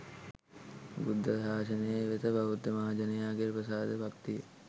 බුද්ධ ශාසනය වෙත බෞද්ධ මහජනයාගේ ප්‍රසාද භක්තිය